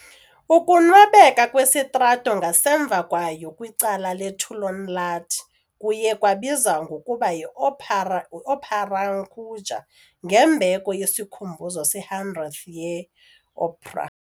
Ukunwebeka kwesitrato ngasemva kwayo kwicala le-Töölönlahti kuye kwabizwa ngokuba yi Opera yi-Ooperankuja ngembeko yesikhumbuzo se-100th ye-opera.